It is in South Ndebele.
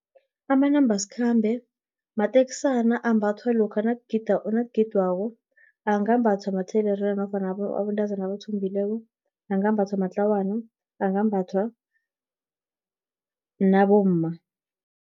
Amanambasikhambe, mateksana ambathwa lokha nakugidwako, angambatha mathelerina, nofana abentazana nabathombileko, angambathwa matlawana, angambathwa nabomma.